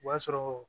O b'a sɔrɔ